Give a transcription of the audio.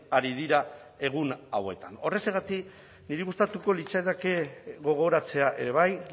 ari dira egun hauetan horrexegatik niri gustatuko litzaidake gogoratzea ere bai